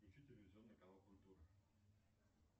включи телевизионный канал культура